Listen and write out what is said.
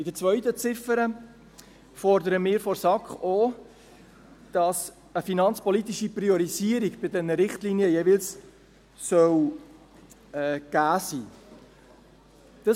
In der zweiten Ziffer fordern wir von der SAK auch, dass eine finanzpolitische Priorisierung bei diesen Richtlinien jeweils gegeben sein soll.